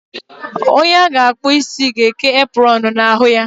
Onye a ga akpu ịsị ga eke apronu na ahụ ya